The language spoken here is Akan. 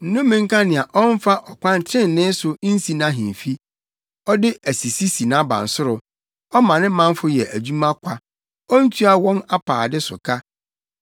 “Nnome nka nea ɔmfa ɔkwan trenee so nsi nʼahemfi, ɔde asisi si nʼabansoro, ɔma ne manfo yɛ adwuma kwa, ontua wɔn apaade so ka.